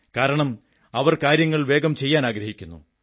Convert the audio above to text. കാരണം അവർ കാര്യങ്ങൾ വേഗം ചെയ്യാനാഗ്രഹിക്കുന്നു